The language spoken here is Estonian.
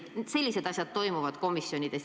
Sellised asjad toimuvad komisjonides.